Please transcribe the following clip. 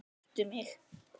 Hitta mig?